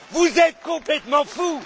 Vous êtes complètement fous!